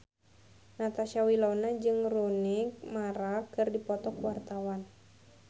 Natasha Wilona jeung Rooney Mara keur dipoto ku wartawan